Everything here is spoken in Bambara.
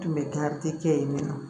Tun bɛ garijɛkɛ yen nɔ